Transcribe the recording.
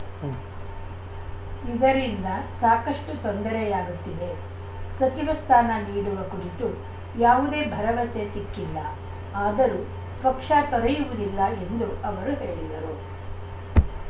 ಉಂ ಇದರಿಂದ ಸಾಕಷ್ಟುತೊಂದರೆಯಾಗುತ್ತಿದೆ ಸಚಿವ ಸ್ಥಾನ ನೀಡುವ ಕುರಿತು ಯಾವುದೇ ಭರವಸೆ ಸಿಕ್ಕಿಲ್ಲ ಆದರೂ ಪಕ್ಷ ತೊರೆಯುವುದಿಲ್ಲ ಎಂದು ಅವರು ಹೇಳಿದರು